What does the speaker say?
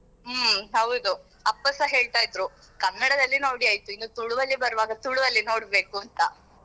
ಹ್ಮ್ ಹೌದು ಅಪ್ಪಸ ಹೇಳ್ತಾ ಇದ್ರು ಕನ್ನಡದಲ್ಲಿ ನೋಡಿ ಆಯ್ತು ಇನ್ನು ತುಳುವಲ್ಲಿ ಬರುವಾಗ ತುಳುವಲ್ಲಿ ನೋಡ್ಬೇಕುಂತ.